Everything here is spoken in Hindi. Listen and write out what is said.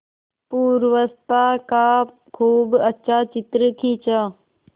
पूर्वावस्था का खूब अच्छा चित्र खींचा